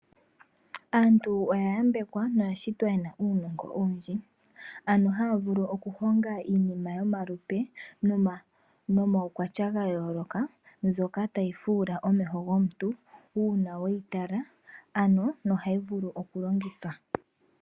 Aantu oya yambekwa noyashitwa yena uunogo owundji. Ano haya vulu oku honga iinima yomalupe nomawu kwatya gayoloka. Mbyoka tayi fuula omeho gomuntu una weyi tala nohayi vulu longithwa.